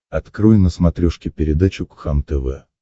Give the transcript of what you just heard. открой на смотрешке передачу кхлм тв